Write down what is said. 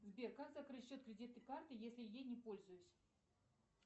сбер как закрыть счет кредитной карты если ей не пользуюсь